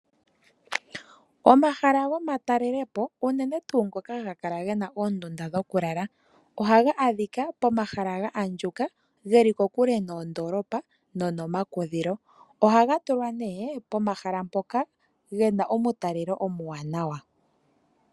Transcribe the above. Omahala gomatalelepo unene tuu ngono haga kala ge na oondunda dhokulala ohaga adhika pomahala ga andjuka ge li kokule nondoolopa nomakudhilo . Ohaga tulwa nee pomahala mpoka pe na omutalelo omuwanawa.